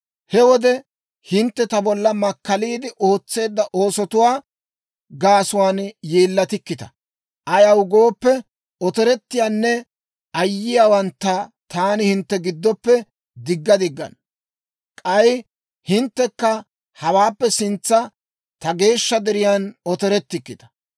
He wode hintte ta bolla makkaliide ootseedda oosotuwaa gaasuwaan yeellatikkita; ayaw gooppe, otorettiyaanne ayyiyaawantta taani hintte giddoppe digga diggana. K'ay hinttekka hawaappe sintsan ta geeshsha deriyan otorettikkita.